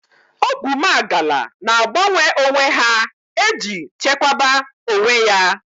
Oguwmagala na agbanwe onwe ha eji chekwaba onwe ya